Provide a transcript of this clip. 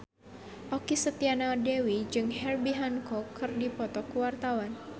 Okky Setiana Dewi jeung Herbie Hancock keur dipoto ku wartawan